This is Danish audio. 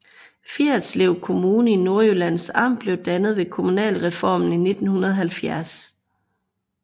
Fjerritslev Kommune i Nordjyllands Amt blev dannet ved kommunalreformen i 1970